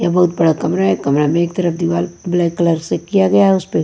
ये बहुत बड़ा कमरा है कमरा में एक तरफ दीवार ब्लैक कलर से किया गया है उसमें--